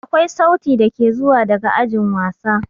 Akwai sauti dake zuwa daga ajin wasa.